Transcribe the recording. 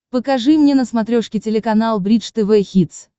покажи мне на смотрешке телеканал бридж тв хитс